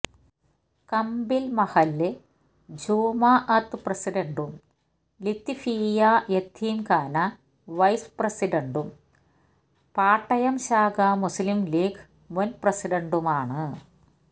കമ്പിൽ മഹല്ല് ജമാഅത്ത് പ്രസിഡൻറും ലത്വീഫിയ യതീംഖാന വൈസ് പ്രസിഡൻറും പാട്ടയം ശാഖ മുസ്ലിം ലീഗ് മുൻ പ്രസിഡൻറുമാണ്